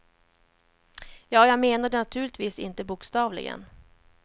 Ja, jag menar det naturligtvis inte bokstavligen.